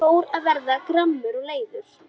Ég fór að verða gramur og leiður.